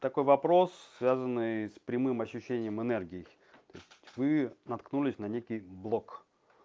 такой вопрос связанный с прямым ощущением энергии то есть вы наткнулись на некий блок